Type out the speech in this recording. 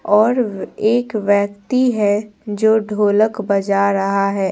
और एक व्यक्ति है जो ढोलक बजा रहा है।